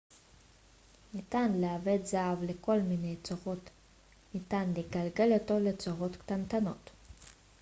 ניתן לעבד זהב לכל מיני צורות ניתן לגלגל אותו לצורות קטנטנות